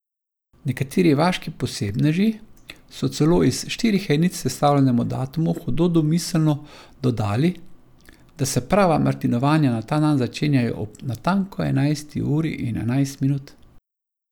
Nekateri vaški posebneži so celo iz štirih enic sestavljenemu datumu hudo domiselno dodali, da se prava martinovanja na ta dan začenjajo ob natanko enajsti uri in enajst minut.